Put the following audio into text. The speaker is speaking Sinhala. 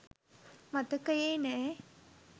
මතකයේ නෑ.